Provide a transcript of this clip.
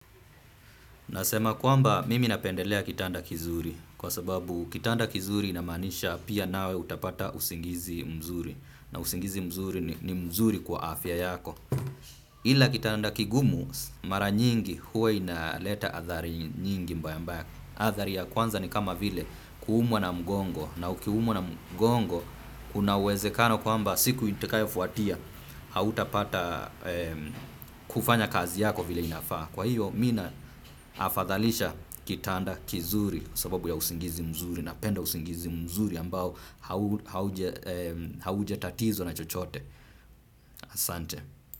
Nasema kwamba mimi napendelea kitanda kizuri, kwa sababu kitanda kizuri inamaanisha pia nawe utapata usingizi mzuri na usingizi mzuri ni mzuri kwa afya yako. Ila kitanda kigumu mara nyingi huwainaleta adhari nyingi mbaya mbaya. Adhari ya kwanza ni kama vile kuumwa na mgongo, na ukiumwa na mgongo, kunauwezekano kwamba siku itakayofuatia hautapata kufanya kazi yako vile inafaa. Kwa hiyo, mimi naafadhalisha kitanda kizuri sababu ya usingizi mzuri napenda usingizi mzuri ambao haujatatizwa na chochote. Asante.